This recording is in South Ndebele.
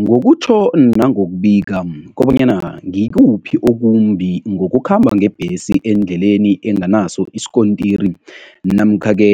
Ngokutjho nangokubika kobanyana ngikuphi okumbi ngokukhamba ngebhesi endleleni enganaso isikontiri namkha-ke